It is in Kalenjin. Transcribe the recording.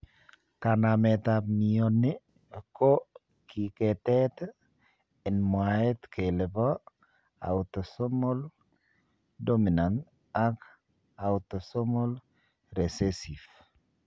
Kanamet ap mioni ko kigetet en mwaet kele po autosomal dominant ak autosomal recessive.